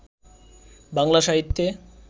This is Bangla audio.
বাংলা সাহিত্যে